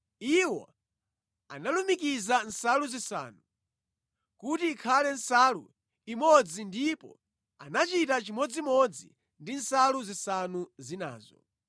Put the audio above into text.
Iwo analumikiza nsalu zisanu, kuti ikhale nsalu imodzi ndipo anachita chimodzimodzi ndi nsalu zisanu zinazo.